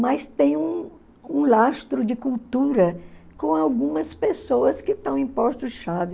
mas tem um um lastro de cultura com algumas pessoas que estão em postos-chave.